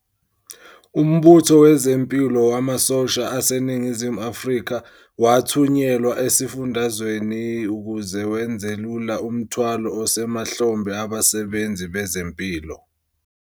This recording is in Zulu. UMbutho Wezempilo Wamasosha aseNingizimu Afrika wathunyelwa esifundazweni ukuze wenzelula umthwalo osemahlombe abasebenzi bezempilo.